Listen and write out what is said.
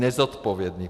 Nezodpovědných.